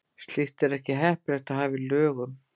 Slíkt er ekki heppilegt að hafa í lögum.